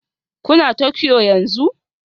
Kuna Tokyo yanzu?